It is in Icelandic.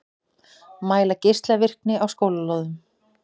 Mæla geislavirkni á skólalóðum